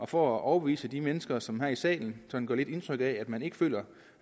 for at overbevise de mennesker som her i salen sådan lidt indtryk af at man ikke føler